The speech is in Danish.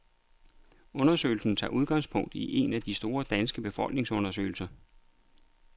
Undersøgelsen tager udgangspunkt i en af de store danske befolkningsundersøgelser.